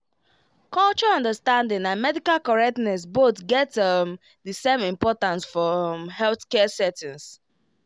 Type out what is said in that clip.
culture understanding and medical correctness both get um the same importance for um healthcare settings